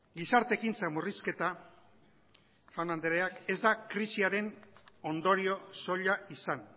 gizarte ekintza murrizketa jaun andreak ez da krisiaren ondorio soila izan